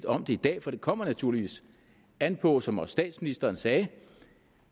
om det i dag for det kommer naturligvis an på som også statsministeren sagde